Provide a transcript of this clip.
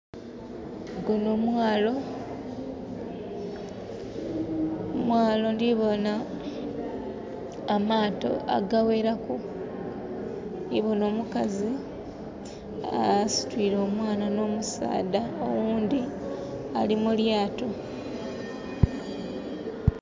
Gunho mwalo...mwalo ndhibona amaato agaghelaku, ndhibona omukazi asitwire omwaana no musaadha oghundhi ali mu lyaato.